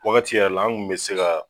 Wagati yɛrɛ la, an kun mɛ se ka